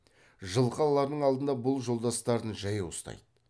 жылқы алардың алдында бұл жолдастарын жаяу ұстайды